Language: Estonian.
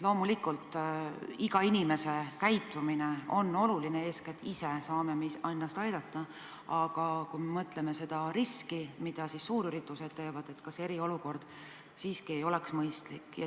Loomulikult on iga inimese käitumine oluline ja me saame ennast eeskätt ise aidata, aga kui mõtleme selle riski peale, mis kaasneb suurüritustega, siis kas poleks mõistlik ikkagi eriolukord kehtestada?